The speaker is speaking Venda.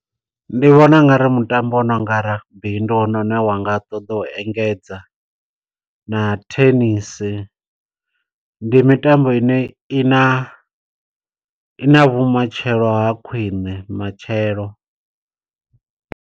Ndi vhona ungari mutambo wo no nga rugby, ndi wone une wanga ṱoḓa u engedza, na thenisi. Ndi mitambo ine i na i na vhumatshelo ha khwiṋe matshelo.